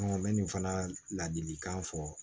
n bɛ nin fana ladilikan fɔ